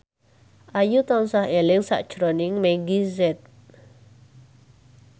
Ayu tansah eling sakjroning Meggie Z